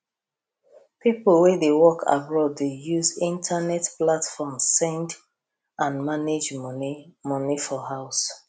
people wey dey work abroad dey use internet platform send and manage money money for house